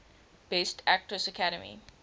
best actress academy